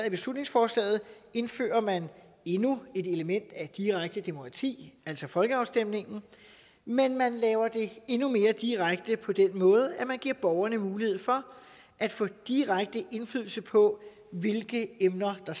i beslutningsforslaget indfører man endnu et element af direkte demokrati altså folkeafstemningen men man laver det endnu mere direkte på den måde at man giver borgerne mulighed for at få direkte indflydelse på hvilke emner der